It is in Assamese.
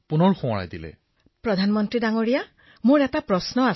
বিনোলেঃ প্ৰধানমন্ত্ৰী মহোদয় মোৰ এটা প্ৰশ্ন আছে